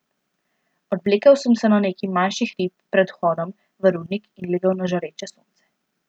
Odvlekel sem se na neki manjši hrib pred vhodom v rudnik in legel na žareče sonce.